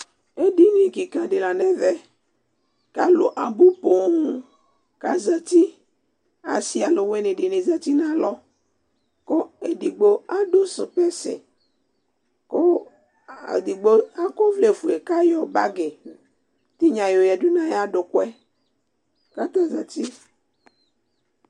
Edini kika di la nɛvɛKʋ alu abu poooŋ, kazati Asi aluwini dini zã nalɔKʋ edigbo adʋ sokposɛKʋ edigbo akɔ ɔvlɛ fue kayɔ bagi tinya yɔyadu nayadukuɛ, kabezati